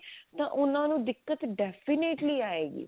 ਤਾਂ ਉਹਨਾਂ ਨੂੰ ਦਿੱਕਤ definitely ਆਏਗੀ